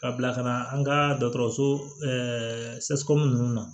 Ka bila ka na an ka dɔgɔtɔrɔso nunnu na